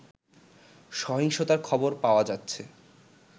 সহিংসতার খবর পাওয়া যাচ্ছে